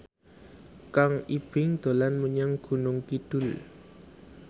Kang Ibing dolan menyang Gunung Kidul